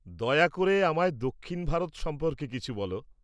দয়া করে আমায় দক্ষিণ ভারত সম্পর্কে কিছু বল।